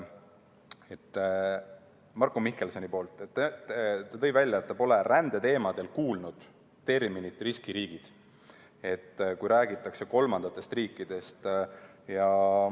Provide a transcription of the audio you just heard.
Marko Mihkelson tõi välja, et ta pole rändeteemadel kuulnud terminit "riskiriigid", kui räägitakse kolmandatest riikidest.